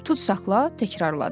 Tutsaqla təkrarladı.